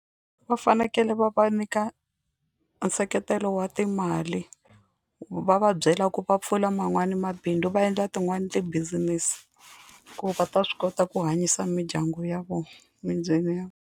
Va fanekele va va nyika nseketelo wa timali va va byela ku va pfula man'wani mabindzu va endla tin'wani ti-business ku va ta swi kota ku hanyisa mindyangu ya vona ya.